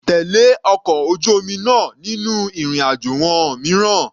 Tèlé ọkọ̀ ojú omi náà nínú ìrìn àjò wọn mìíràn.